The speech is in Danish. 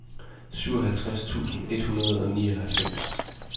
syvoghalvtreds tusind et hundrede og nioghalvfems